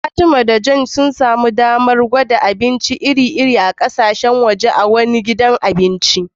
Fatima da Joy sun samu damar gwada abinci iri-iri na kasashen waje a wani gidan abinci